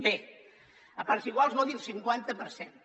bé a parts iguals vol dir el cinquanta per cent